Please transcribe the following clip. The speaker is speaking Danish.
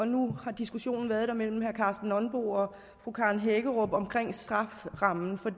nu har diskussionen været der mellem herre karsten nonbo og fru karen hækkerup om strafferammen for